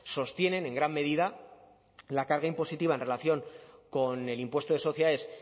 sostienen en gran medida la carga impositiva en relación con el impuesto de sociedades